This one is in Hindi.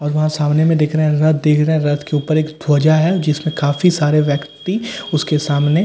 और ऊहा सामने मैं देख रहे है रथ देख रहे है रथ रथ के ऊपर एक धोयजा है जिसमे काफी सारे ब्याक्ति उसके सामने --